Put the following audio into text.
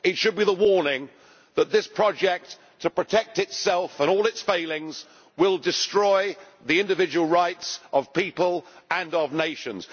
It should be the warning that this project to protect itself and all its failings will destroy the individual rights of people and of nations.